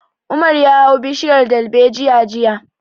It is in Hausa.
Umar ya hau bishiyar dalbejiya jiya